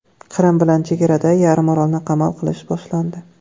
Qrim bilan chegarada yarimorolni qamal qilish boshlandi.